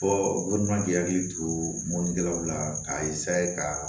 ma k'i hakili to mɔnikɛlaw la k'a kaa